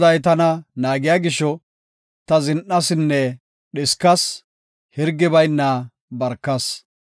Goday tana naagiya gisho, ta zin7asinne dhiskas hirgi bayna barkas.